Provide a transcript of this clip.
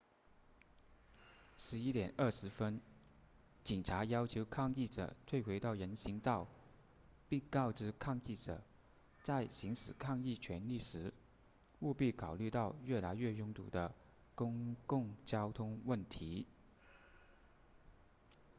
11点20分警察要求抗议者退回到人行道并告知抗议者在行使抗议权利时务必考虑到越来越拥堵的公共交通问题